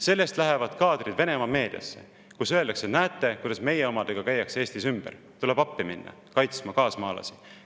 Sellest lähevad kaadrid Venemaa meediasse, kus öeldakse: näete, kuidas meie omadega Eestis ümber käiakse, tuleb appi minna kaasmaalasi kaitsma.